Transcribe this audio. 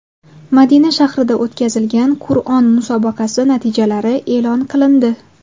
Madina shahrida o‘tkazilgan Qur’on musobaqasi natijalari e’lon qilindi.